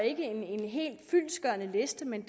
ikke en helt fyldestgørende liste men